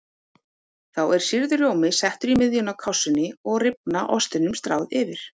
Þá er sýrður rjómi settur í miðjuna á kássunni og rifna ostinum stráð yfir.